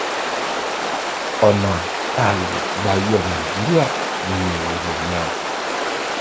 ọnà tá a lè gbà yọ nàìjíríà nínú ewu yìí nìyẹn o